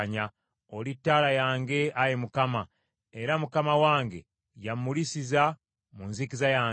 Oli ttaala yange, Ayi Mukama era Mukama wange yammulisiza mu nzikiza yange.